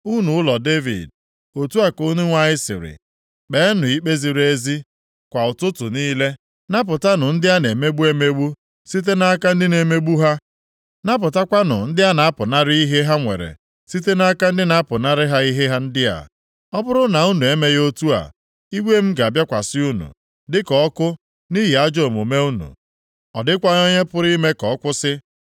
Unu ụlọ Devid, otu a ka Onyenwe anyị sịrị, “ ‘Kpeenụ ikpe ziri ezi + 21:12 Meenụ ka ikpe ziri ezi na-adịrị mmadụ niile kwa ụbọchị kwa ụtụtụ niile; napụtanụ ndị a na-emegbu emegbu site nʼaka ndị na-emegbu ha. Napụtakwanụ ndị a na-apụnara ihe ha nwere site nʼaka ndị na-apụnara ha ihe ndị a. Ọ bụrụ na unu emeghị otu a, iwe m ga-abịakwasị unu, dịka ọkụ nʼihi ajọ omume unu, ọ dịkwaghị onye pụrụ ime ka ọ kwụsị.